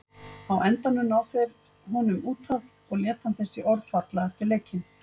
Á endanum ná þeir honum út af og lét hann þessi orð falla eftir leikinn.